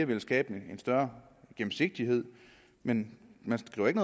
vil skabe en større gennemsigtighed men man skriver ikke